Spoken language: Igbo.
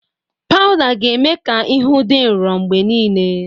Pawụda ga-eme ka ihu dị nro mgbe niile.